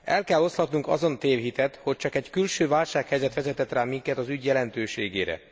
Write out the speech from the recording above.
El kell oszlatnunk azon tévhitet, hogy csak egy külső válsághelyzet vezethet rá minket az ügy jelentőségére.